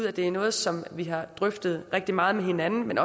at det er noget som vi har drøftet rigtig meget med hinanden